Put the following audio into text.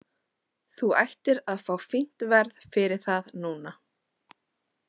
Þú ættir að fá fínt verð fyrir það núna.